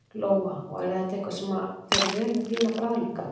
Lóa: Og er þetta eitthvað sem að fer vel við þína bragðlauka?